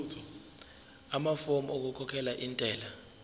amafomu okukhokhela intela